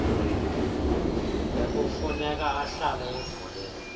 nekufuneka ahlale evuliwe